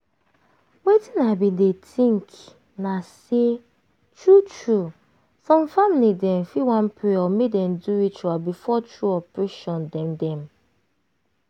wetin i bin dey think na say true true some family dem fit wan pray or make dem do ritual before true operation dem. dem.